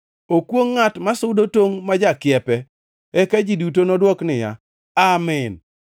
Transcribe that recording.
“Okwongʼ ngʼat masudo tongʼ mar jakiepe.” Eka ji duto nodwok niya, “Amin!”